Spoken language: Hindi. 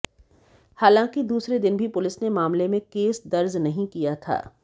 हालांकि दूसरे दिन भी पुलिस ने मामले में केस दर्ज नहीं किया था